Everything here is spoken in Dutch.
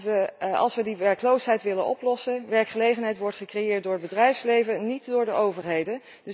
Want als we die werkloosheid willen oplossen werkgelegenheid wordt gecreëerd door het bedrijfsleven en niet door de overheden.